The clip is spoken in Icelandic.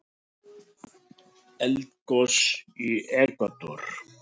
Eldgos í Ekvador